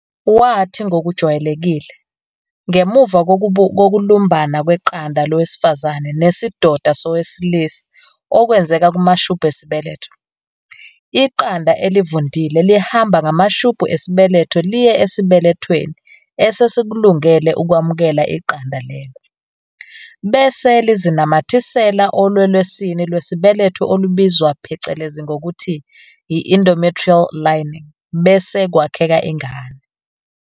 Wathi ngokujwayelekile, ngemuva kokulumbana kweqanda lowesifazane nesidoda sowesilisa okwenzeka kumashubhu esibeletho, iqanda elivundile lihamba ngamashubhu esibeletho liye esibelethweni esesikulungele ukwamukela iqanda lelo, bese lizinamathisela olwelwesini lwesibeletho olubizwa phecelezi ngokuthi yi-endometrial lining bese kwakheka ingane.